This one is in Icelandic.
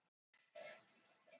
Er þetta nýtt orð?